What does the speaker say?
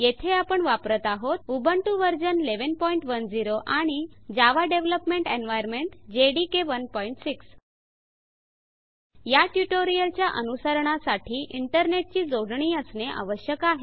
येथे आपण वापरत आहोत उबुंटु वर्जन 1110 आणि जावा डेवलपमेंट एन्वाइरन्मेंट जेडीके 16 या ट्यूटोरियलच्या अनुसरणा साठी इंटरनेट ची जोडणी असणे आवश्यक आहे